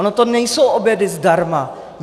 Ony to nejsou obědy zdarma!